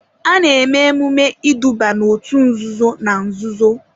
A na-eme emume iduba n'òtù nzuzo na nzuzo.